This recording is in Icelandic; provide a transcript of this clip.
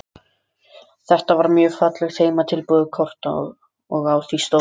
Þetta var mjög fallegt heimatilbúið kort og á því stóð